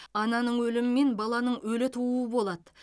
ананың өлімі мен баланың өлі тууы болады